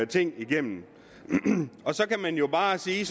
ting igennem så kan man jo bare sige